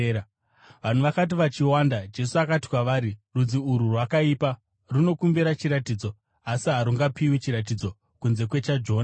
Vanhu vakati vachiwanda, Jesu akati kwavari, “Rudzi urwu rwakaipa. Runokumbira chiratidzo, asi harungapiwi chiratidzo kunze kwechaJona.